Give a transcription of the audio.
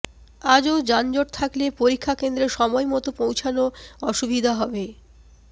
আজও যানজট থাকলে পরীক্ষা কেন্দ্রে সময় মতো পৌঁছানো অসুবিধা হবে